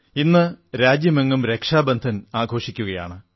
ഇന്ന് രാജ്യമെങ്ങും രക്ഷാബന്ധൻ ആഘോഷിക്കുകയാണ്